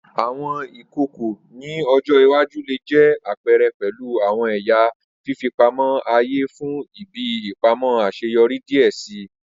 Awọn ìkòkò ni ọjọ iwaju le jẹ apẹrẹ pẹlu awọn ẹya fifipamọ aaye fun ibi ipamọ aṣeyọri diẹ sii.